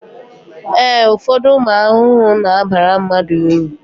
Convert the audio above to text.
ee, ụfọdụ ụmụ ahụhụ na-abara mmadụ uru